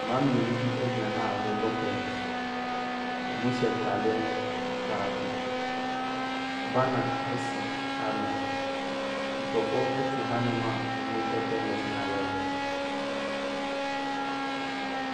Mmaa mmienu bi gyina ha a wɔrebɔ tenis. Wɔhyɛ ntadeɛ baako. Banner si hanom. Nkurɔfoɔ te hanom a wɔrehwɛ tenis no a wɔrebɔ no.